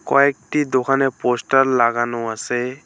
কয়েকটি দোকানে পোস্টার লাগানো আসে।